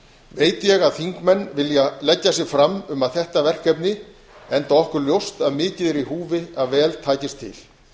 veit ég að þingmenn vilja leggja sig fram um þetta verkefni enda okkur ljóst að mikið er í húfi að vel takist til